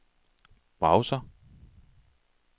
browser